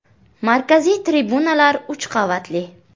Markaziy tribunalar uch qavatli.